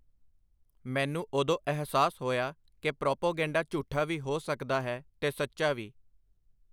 ਮੈਨੂੰ ਓਦੋਂ ਅਹਿਸਾਸ ਹੋਇਆ ਕਿ ਪ੍ਰਾਪੇਗੈਂਡਾ ਝੂਠਾ ਵੀ ਹੋ ਸਕਦਾ ਹੈ, ਤੇ ਸੱਚਾ ਵੀ.